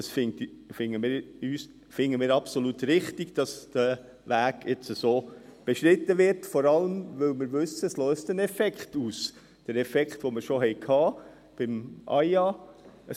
Wir finden es absolut richtig, dass der Weg so beschritten wird, vor allem, weil wir wissen, dass es einen Effekt auslöst, den Effekt, den wir schon beim AIA gesehen haben.